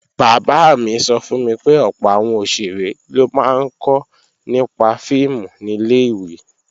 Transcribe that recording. Bàbá mi sọ fún mi pé ọ̀pọ̀ àwọn òṣèré ló máa ń kọ́ nípa fíìmù nílẹ̀ ìwé